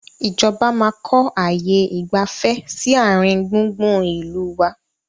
Ìjọba máa kọ ààyè ìgbafẹ́ sì àárín gbùngbùn ìlú wá